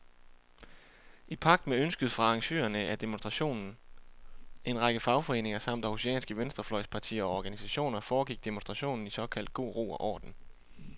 I pagt med ønsket fra arrangørerne af demonstrationen, en række fagforeninger samt århusianske venstrefløjspartier og organisationer, foregik demonstrationen i såkaldt god ro og orden.